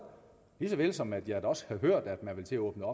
lige såvel som at jeg også har hørt at man vil til at åbne